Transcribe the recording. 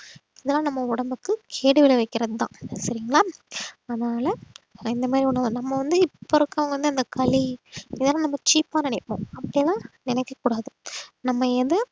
இதெல்லாம் நம்ம உடம்புக்கு கேடு விளைவிக்கிறதுதான் சரிங்களா அதனால இந்த மாதிரி நம்ம வந்து இப்ப இருக்கிறவங்க வந்து இந்த களி இதெல்லாம் நம்ம cheap ஆ நினைப்போம் அப்படியெல்லாம் நினைக்கக் கூடாது நம்ம எது